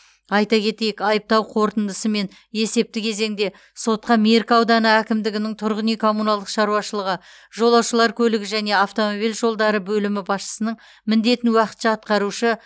айта кетейік айыптау қорытындысымен есепті кезеңде сотқа меркі ауданы әкімдігінің тұрғын үй коммуналдық шаруашылығы жолаушылар көлігі және автомобиль жолдары бөлімі басшысының міндетін уақытша атқарушы